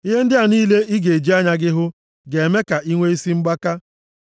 Ihe ndị a niile ị ga-eji anya gị hụ ga-eme ka i nwe isi mgbaka.